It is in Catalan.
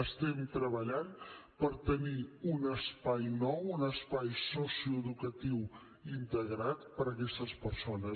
estem treballant per tenir un espai nou un espai socioeducatiu integrat per a aquestes persones